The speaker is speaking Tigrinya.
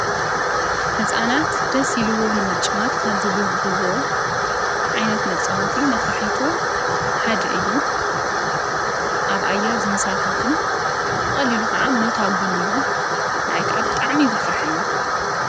ሕፃናት ደሲኢልዎንምጭዋት ካብ ዝቡህግዎ ዓይነት መጸወቲ ነፋሒቶ ሓድ እዩ ኣብኣያር ዘንሳፈፍን ወቕሊሉ ኸዓ ኖታጕን እዩ ንኣይካ ኣብ ጥዕሚ እዩ ዘፍርሐኒ።